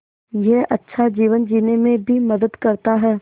यह अच्छा जीवन जीने में भी मदद करता है